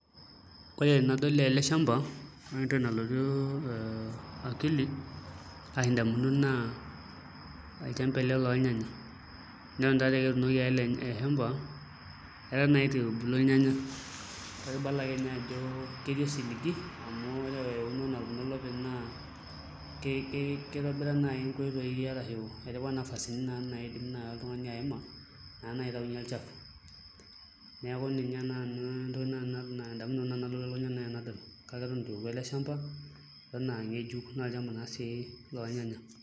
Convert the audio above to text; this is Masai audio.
Ore enadol ele shamba ore entoki nalotu akili ashu indamunot naa olchamba ele lolnyanya, neton taatoi aa eketuunoki ake ele shamba eton naa itu ebulu ilnyanya kake ibala ake ninye ajo etii osiligi amu ore eunoto kitobira naai nkoitoi arashu etipika nai nafasini pee etumoki naa oltung'ani aima pee etumoki aitayunyie olchafu neeku ninye naai entoki naai nanu nalotu elukunya tenadol kake eton itu eoku ele shamba naa olchamba lolnyanya.